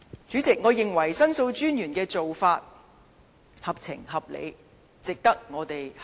主席，我認為申訴專員的做法合情合理，值得我們參考。